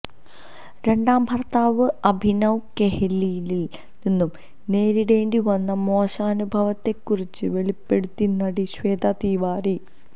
രണ്ടാം ഭർത്താവ് അഭിനവ് കെഹ്ലിയിൽ നിന്നും നേരിടേണ്ടി വന്ന മോശനുഭവത്തെ കുറിച്ച് വെളിപ്പെടുത്തി നടി ശ്വേത തിവാരി